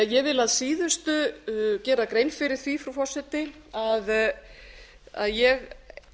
ég vil að síðustu gera grein fyrir því frú forseti að ég